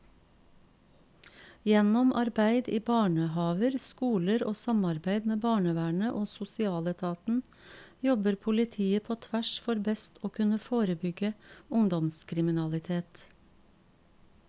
Gjennom arbeid i barnehaver, skoler og samarbeid med barnevernet og sosialetaten jobber politiet på tvers for best å kunne forebygge ungdomskriminalitet.